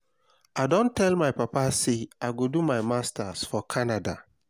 i don tell my papa say i go do my masters for canada